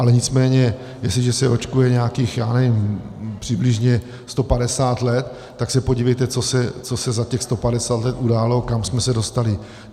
Ale nicméně jestliže se očkuje nějakých, já nevím, přibližně 150 let, tak se podívejte, co se za těch 150 let událo, kam jsme se dostali.